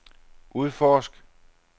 udforsk